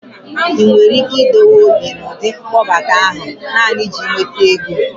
ị nwere ike idiwu obi n'ụdị mkpọbata ahụ naanị iji nweta ego?